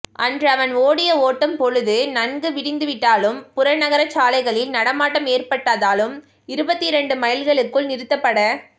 அன்று அவன் ஓடிய ஓட்டம் பொழுது நன்கு விடிந்துவிட்டதாலும் புறநகர்ச் சாலைகளில் நடமாட்டம் ஏற்பட்டதாலும் இருபத்திரண்டு மைல்களுக்குள் நிறுத்தப்பட